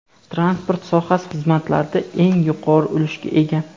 Transport sohasi xizmatlarda eng yuqori ulushga ega.